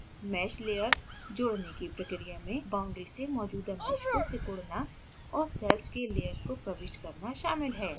mesh layer जोड़ने की प्रक्रिया में boundary से मौजूदा mesh को सिकुड़ाना और cells के layers को प्रविष्ट करना शामिल है